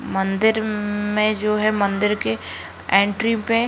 मंदिर में जो है मंदिर के एंट्री पे --